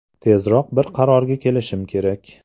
Tezroq bir qarorga kelishim kerak.